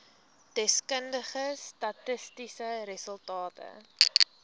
deskundige statistiese resultate